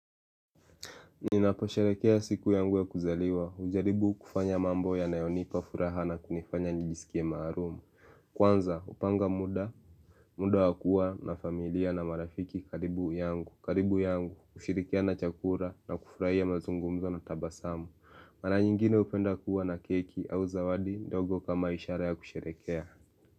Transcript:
Ninapo sherehekea siku yangu ya kuzaliwa, hujaribu kufanya mambo yanayonipa furaha na kunifanya njijisikie marumu Kwanza hupanga muda, muda wakua na familia na marafiki karibu yangu karibu yangu kushirikiana chakula na kufurahia mazungumzo na tabasamu Mara nyingine hupenda kuwa na keki au zawadi ndogo kama ishara ya kusherehekea.